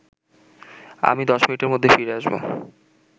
আমি ১০ মিনিটের মধ্যেই ফিরে আসব